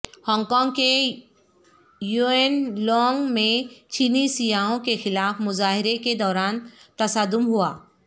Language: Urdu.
ہانگ کانگ کے یوئن لونگ میں چینی سیاحوں کے خلاف مظاہرے کے دوران تصادم ہوا